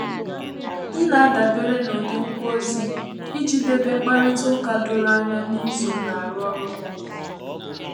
M na-adàbére n’ụ́dị ngwa ozi iji dèbé mkpàrịtà ụ́ka dòrò ànyà n’ízu nna arụ ọrụ n'ụlọ